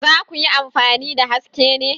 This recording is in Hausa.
Za ku yi amfani da Haske ne?